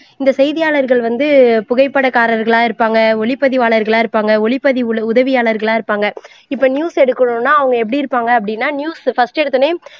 இந்த செய்தியாளர்கள் வந்து புகைப்படக்காரர்களா இருப்பாங்க ஒளிப்பதிவாளர்களா இருப்பாங்க ஒளிப்பதிவு உதவியாளர்களா இருப்பாங்க இப்போ news எடுக்கணும்னா அவங்க எப்படி இருப்பாங்க அப்படின்னா news first எடுத்தவுடனே